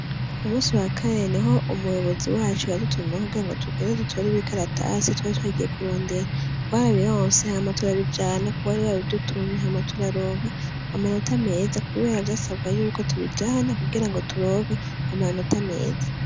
Ku munsi wa kane niho umuyobozi wacu yadutumako kugirango tugende dutore ibikaratasi twari twagiye kurondera, twarabironse hama turabijana kuwari yabidutumye, hama turaronka amanota meza, kubera vyasabwa yuko tubijana kugirango turonka amanota meza.